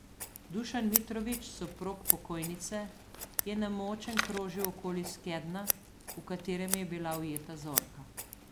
Dušan Mitrović, soprog pokojnice, je nemočen krožil okoli skednja, v katerem je bila ujeta Zorka.